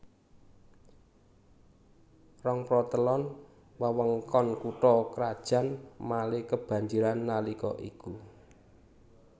Rongprotelon wewengkon kutha krajan Malé kebanjiran nalika iku